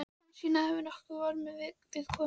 Hansína hefði nokkrum vörnum við komið.